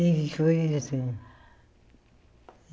E foi assim.